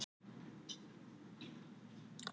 Fáum við núna fjörið?